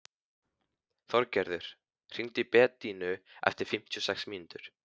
Þorgerður, hringdu í Bedínu eftir fimmtíu og sex mínútur.